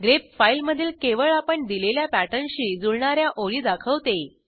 grep फाईलमधील केवळ आपण दिलेल्या पॅटर्नशी जुळणा या ओळी दाखवते